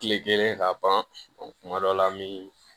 Kile kelen ka ban kuma dɔ la an bi